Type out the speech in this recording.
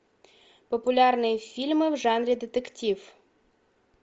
популярные фильмы в жанре детектив